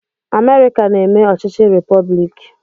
Amerịka na-eme ọchịchị repọblik.